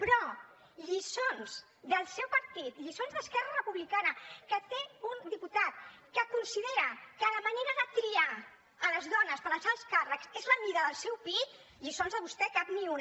però lliçons del seu partit lliçons d’esquerra republicana que té un diputat que considera que la manera de triar les dones per als alts càrrecs és la mida del seu pit lliçons de vostè cap ni una